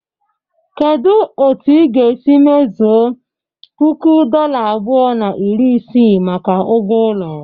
Kedu otu ị ga-esi mezuo puku dola abụọ na iri isii maka ugwo ulo?